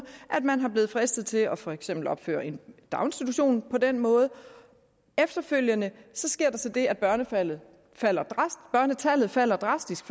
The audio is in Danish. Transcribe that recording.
at man er blevet fristet til for eksempel at opføre en daginstitution på den måde efterfølgende sker der så det at børnetallet falder falder drastisk